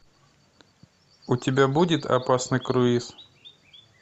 у тебя будет опасный круиз